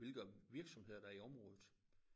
Hvilke virksomheder der i området